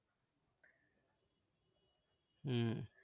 হম